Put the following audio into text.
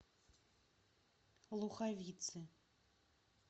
луховицы